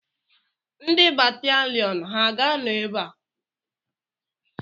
Ndị bataliọnụ ha ga-anọ ebe a?